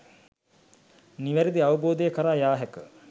නිවැරදි අවබෝධය කරා යා හැක.